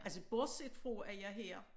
Altså borset fra at jeg her